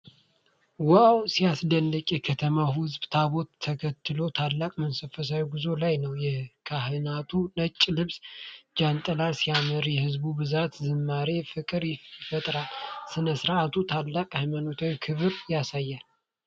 ዋው፣ ሲያስደንቅ! የከተማው ሕዝብ ታቦቱን ተከትሎ ታላቅ መንፈሳዊ ጉዞ ላይ ነው። የካህናቱ ነጭ ልብስና ጃንጥላ ሲያምር፣ የሕዝቡ ብዛትና ዝማሬ ፍቅርን ይፈጥራል። ሥነ ሥርዓቱ ታላቅ ሃይማኖታዊ ክብርን ያሳያል።